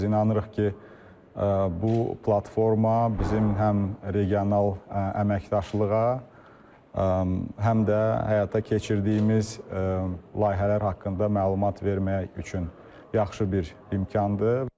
Biz inanırıq ki, bu platforma bizim həm regional əməkdaşlığa, həm də həyata keçirdiyimiz layihələr haqqında məlumat vermək üçün yaxşı bir imkandır.